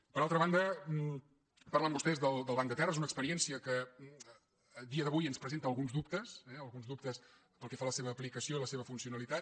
per altra banda parlen vostès del banc de terres una experiència que a dia d’avui ens presenta alguns dub·tes eh alguns dubtes pel que fa a la seva aplicació i la seva funcionalitat